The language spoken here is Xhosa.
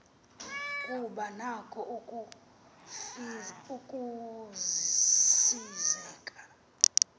kuba nako ukusizela